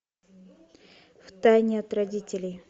в тайне от родителей